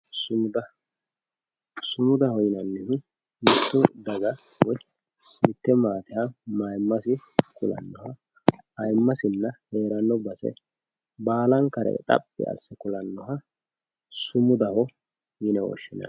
sumuda sumudaho yinannihu mitte daga woyi mitte maateha mayiimmase kulannoha ayiimmasinna heeranno base baalankare xaphi asse kulannoha sumudaho yine woshshinanni.